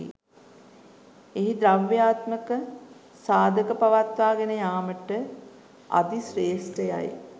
එහි ද්‍රව්‍යාත්මක සාධක පවත්වා ගෙන යාමට අධි ශ්‍රේෂ්ඨ යයි